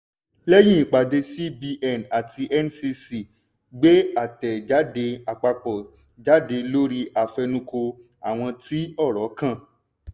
lẹ́yìn ìpàdé cbn àti ncc gbé àtẹ̀jáde àpapọ̀ jáde lórí àfẹnukò àwọn tí ọ̀rọ̀ kàn.